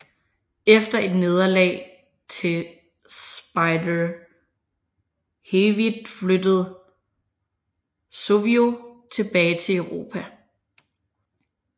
Efter et nederlag til Spider Hewitt flyttede Suvio tilbage til Europa